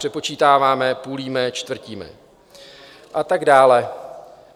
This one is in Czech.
Přepočítáváme, půlíme, čtvrtíme..." a tak dále.